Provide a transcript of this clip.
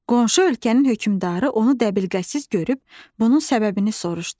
Qonşu ölkənin hökmdarı onu dəbilqəsiz görüb, bunun səbəbini soruşdu.